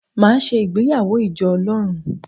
Màá se ìgbéyàwó ìjọ Ọlọ́run